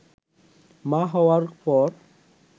মা হওয়ার পর